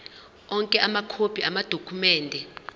onke amakhophi amadokhumende